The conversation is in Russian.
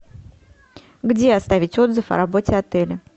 где оставить отзыв о работе отеля